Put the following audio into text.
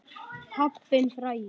Pabbinn frægi.